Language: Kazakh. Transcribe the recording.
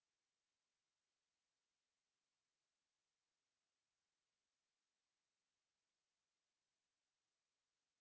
қуыршақтың көйлектерін бірінен соң бірін ауыстырып анасына мама мына көйлек қалай